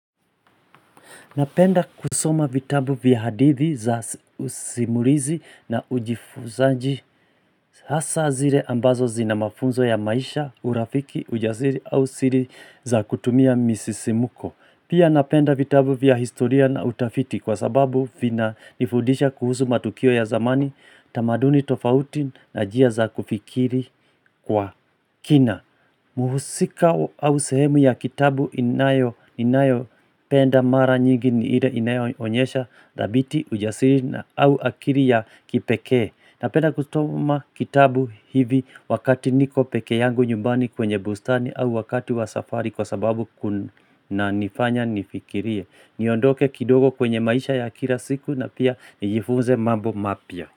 Napenda kusoma vitabu vya hadithi za usimulizi na ujifuzaji hasa zile ambazo zina mafunzo ya maisha, urafiki, ujasiri au siri za kutumia misisimuko. Pia napenda vitabu vya historia na utafiti kwa sababu vinanifudisha kuhusu matukio ya zamani, tamaduni tofauti na njia za kufikiri kwa kina. Mhusika au sehemu ya kitabu inayo inayo penda mara nyingi ni ile inayoonyesha thabiti, ujasiri au akili ya kipekee Napenda kusoma kitabu hivi wakati niko peke yangu nyumbani kwenye bustani au wakati wa safari kwa sababu kunanifanya nifikirie niondoke kidogo kwenye maisha ya kila siku na pia nijifunze mambo mapya.